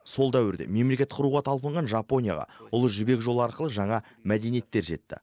сол дәуірде мемлекет құруға талпынған жапонияға ұлы жібек жолы арқылы жаңа мәдениеттер жетті